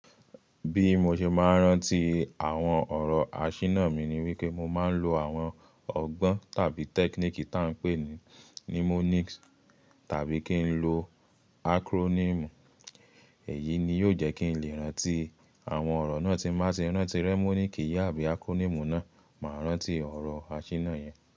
Bí mo ṣe máa ń rántí àwọn ọ̀rọ̀ àṣìná mi ni wípé mo máa ń lo àwọn ọgbọ́n tàbí technique ta n pè ní mnemonics tàbí kí n lo acronym. Èyí ni yóò jẹ́ kí n lè rántí àwọn ọ̀rọ̀ náà tí máa ti rántí mnemonic yìí àbí acronym náà, màá rántí ọ̀rọ̀ àṣìná yẹn.